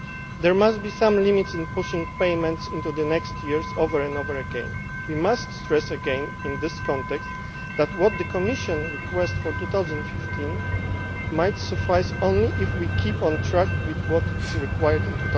There must be some limit to pushing payments into the next years, over and over again. We must re emphasise in this context that what the Commission requests for 2015 might suffice only if we keep on track with what is required